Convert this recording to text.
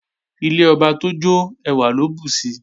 Ilé ọba tójó ẹwà ló bùsi